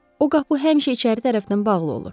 O qapı həmişə içəri tərəfdən bağlı olur.